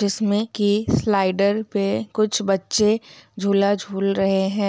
जिसमें की स्लाइडर पे कुछ बच्चे झूला झूल रहे है।